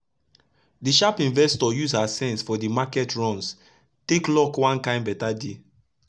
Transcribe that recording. d sharp investor use her sense for d market runs take lock one kain better deal